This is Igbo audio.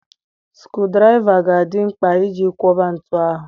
Sukurudraịva ga-adị mkpa iji kwọba ntu ahụ.